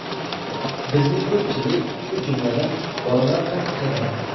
Bizni ko‘pchilik, shu jumladan, bolalar ham kuzatadi.